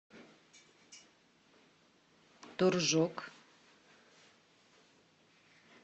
торжок